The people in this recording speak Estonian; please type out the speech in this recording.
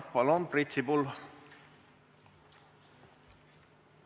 Palun, Priit Sibul!